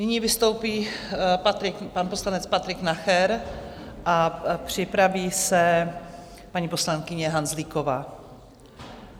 Nyní vystoupí pan poslanec Patrik Nacher a připraví se paní poslankyně Hanzlíková.